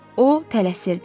O tələsirdi.